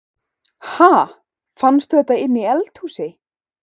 Ha! Fannstu þetta inni í eldhúsi?